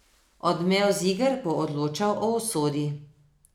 Odmev z iger bo odločal o usodi.